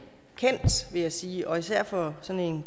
kendt vil jeg sige især for sådan